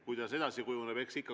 Kuidas edasi kujuneb?